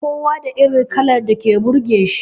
Kowa da irin kalar da take burge shi